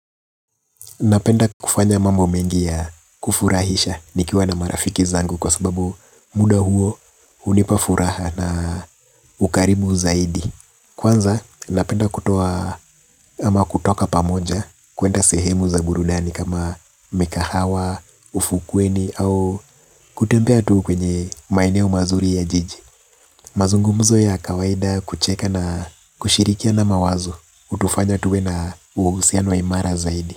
Napenda kufanya mambo mengi ya kufurahisha nikiwa na marafiki zangu kwa sababu muda huo hunipa furaha na ukarimu zaidi. Kwanza napenda kutoa ama kutoka pamoja kuenda sehemu za burunani kama mikahawa, ufukweni au kutembea tu kwenye maeneo mazuri ya jiji. Mazungumzo ya kawaida kucheka na kushirikia na mawazo utufanya tuwe na usianu waimara zaidi.